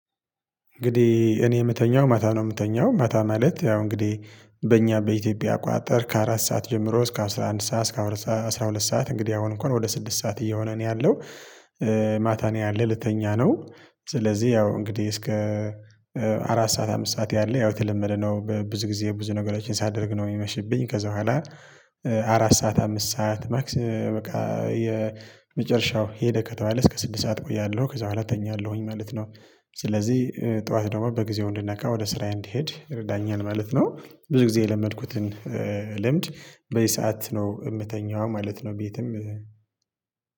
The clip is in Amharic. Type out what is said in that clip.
እንግዲህ እኔ ምተኛው ማታ ነው ምተኛው ማታ ማለት ያው እንግዲህ በእኛ በኢትዮጵያ አቆጣጠር ከአራት ሰዓት ጀምሮ እስከ አስራ አንድ ሰዓት እስከ አስራ ሁለት ሰዓት እንግዲህ አሁን እንኳን ወደ ስድስት ሰዓት እየሆነ ነው ያለው ማታ ነው ያለ ልተኛ ነው ስለዚህ ያው እንግዲህ እስከ አራት ሰዓት አምስት ሰዓት ያለ ያው የተለመደ ነው ብዙ ጊዜ ብዙ ነገሮችን ሳደርግ ነው ሚመሽብኝ ከዛ በኋላ አራት ሰዓት አምስት ሰዓት ማክሲ በቃ የመጨረሻው ሄደ ከተባለ እስከ ስድስት ሰዓት እቆያለሁ ከዛ በኋላ እተኛለሁኝ ማለት ነው ስለዚህ ጠዋት ደግሞ በጊዜው እንድነቃ ወደ ስራዬ እንድሄድ ይረዳኛል ማለት ነው። ብዙ ጊዜ የለመድኩትን ልምድ በዚህ ሰዓት ነው ምተኛው ማለት ነው ቤትም